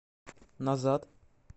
назад